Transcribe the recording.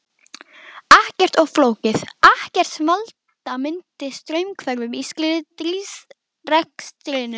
Ekkert of flókið, ekkert sem valda myndi straumhvörfum í stríðsrekstrinum.